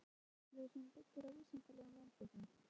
Réttur til kynfræðslu sem byggir á vísindalegum rannsóknum